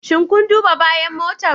Shin kun duba bayan motan?